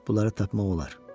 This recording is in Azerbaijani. Bunları tapmaq olar.